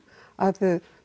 að